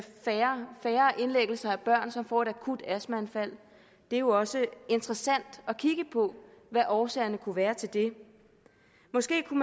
færre indlæggelser af børn som får et akut astmaanfald det er jo også interessant at kigge på hvad årsagerne kunne være til det måske kunne